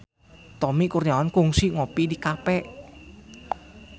Tommy Kurniawan kungsi ngopi di cafe